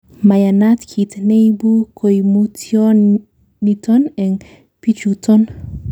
manayat kit neibu Koimutioniton en bichuton